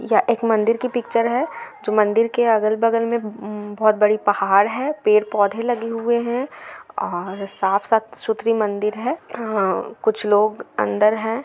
यह एक मंदिर की पिक्चर है जो मंदिर के अगल बगल मे बोहत बड़ी पहाड़ है पेड पौधे लगे हुवे है और साफ साफ सुथरी मंदिर है कुछ लोग अंदर है।